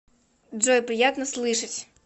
джой приятно слышать